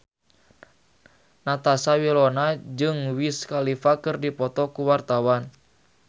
Natasha Wilona jeung Wiz Khalifa keur dipoto ku wartawan